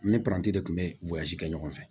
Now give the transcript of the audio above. Ne paranti de tun bɛ kɛ ɲɔgɔn fɛ